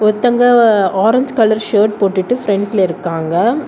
ஒருத்தங்க orange colour shirt போட்டுட்டு ஃப்ரண்ட்ல இருக்காங்க.